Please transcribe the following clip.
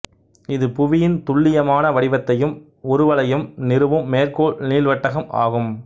இது புவியின் துல்லியமான வடிவத்தையும் உருவளவையும் நிறுவும் மேற்கோள் நீள்வட்டகம் ஆகும்